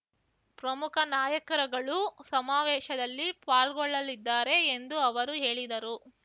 ಪ್ರಮುಖ ನಾಯಕರುಗಳು ಸಮಾವೇಶದಲ್ಲಿ ಪಾಲ್ಗೊಳ್ಳಲಿದ್ದಾರೆ ಎಂದು ಅವರು ಹೇಳಿದರು